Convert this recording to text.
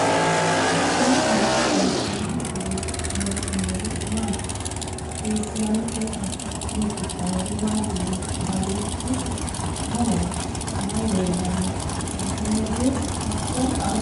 tini maa xawissanno misileeti ? mulese noori maati ? hiissinannite ise ? tini kultannori mattiya? Kawiichchi mamaatti? Mayi leelanno? sumudu hakku ayiiho?